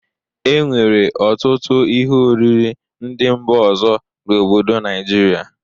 E nwere ọtụtụ ihe oriri ndị mba ọzọ n'obodo Naijiria.